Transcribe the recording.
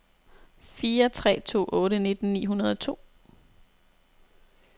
fire tre to otte nitten ni hundrede og to